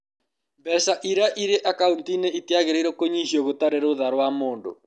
Mbeca iria irĩ akaũnti-inĩ itiagĩrĩirũo kũnyihio gũtarĩ rũtha rwa mũndũ.